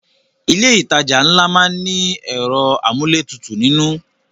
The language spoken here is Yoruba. Ilé ìtajà ńlá má ń ní ẹ̀rọ amúlétutù nínú